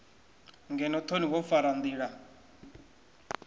ngeno thoni wo fara ndila